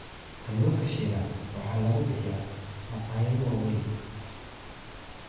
Kalluunka shiilan waxaa lagu bixiyaa maqaayado waaweyn.